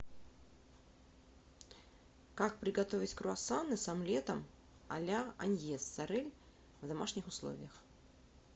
как приготовить круассаны с омлетом а ля аньес сорель в домашних условиях